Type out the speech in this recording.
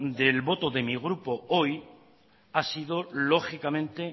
del voto de mi grupo hoy ha sido lógicamente